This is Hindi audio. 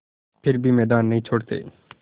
फिर भी मैदान नहीं छोड़ते